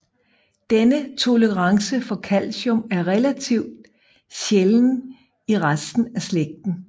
Denne tolerance for calcium er relativt sjælden i resten af slægten